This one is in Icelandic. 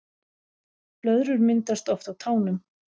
Blöðrur myndast oft á tánum